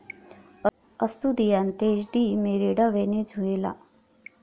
अस्तुदियांतेश de Merida, Venezuela